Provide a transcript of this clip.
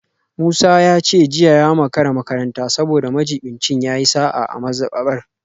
Musa ya ce jiya ya makara makaranta saboda majibincin ya yi sa’a a mazabar